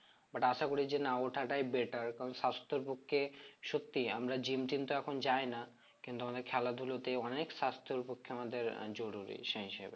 But আশা করি যে না ওঠাটাই better কারণ স্বাস্থ্যের পক্ষে সত্যিই আমরা gym টিম তো এখন যায় না কিন্তু আমাদের খেলা ধুলো তে অনেক স্বাস্থের পক্ষে আমাদের আহ জরুরী সেই হিসেবে